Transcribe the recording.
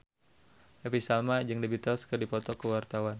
Happy Salma jeung The Beatles keur dipoto ku wartawan